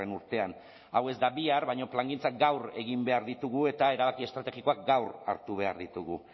urtean hau ez da bihar baino plangintzak gaur egin behar ditugu eta erabaki estrategikoak gaur hartu behar ditugu